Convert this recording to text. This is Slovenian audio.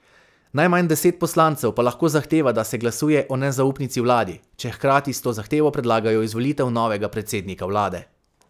Najmanj deset poslancev pa lahko zahteva, da se glasuje o nezaupnici vladi, če hkrati s to zahtevo predlagajo izvolitev novega predsednika vlade.